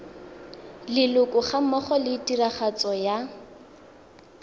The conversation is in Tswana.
leloko gammogo le tiragatso ya